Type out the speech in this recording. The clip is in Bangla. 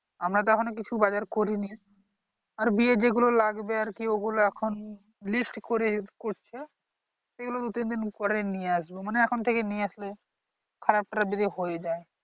আমরা তো এখনো কিছু বাজার করিনি আর বিয়ের যেগুলো লাগে লাগবে আরকি ওগুলো এখন list করে করছে এগুলো দু তিন দিন করে নিয়ে আসব মানে এখন থেকেই নিয়ে আসলে খারাপ টারাপ যদি হয়েই যায়